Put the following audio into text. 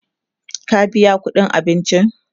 ka biya ƙuɗin abincin!